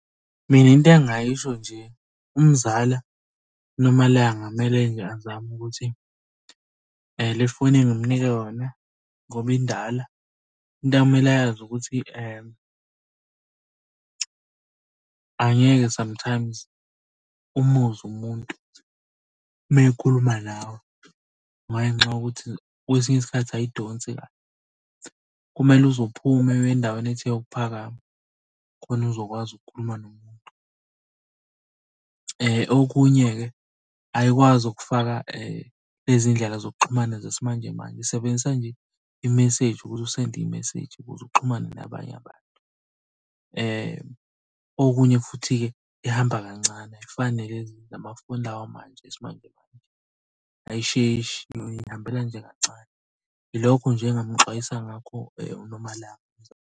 Mina into engingayisho nje umzala uNomalanga kumele nje azame ukuthi le foni engimunike yona ngoba indala. Into okumele ayazi ukuthi angeke sometimes umuzwe umuntu uma ekhuluma nawe, ngenxa yokuthi kwesinye isikhathi ayidonsi kahle. Kumele uze uphume uye endaweni ethe ukuphakama khona uzokwazi ukukhuluma nomuntu. Okunye-ke ayikwazi ukufaka lezi iy'ndlela zokuxhumana zesimanjemanje isebenzisa nje imeseji ukuthi usende imeseji ukuze uxhumane nabanye abantu. Okunye futhi-ke ihamba kancane ayifani nalezi la mafoni lawamanje yesimanjemanje ayisheshi iy'hambela nje kancane. Ilokho nje engingamuxwayisa ngakho uNomalanga.